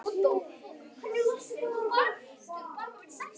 Bóbó, hvað heitir þú fullu nafni?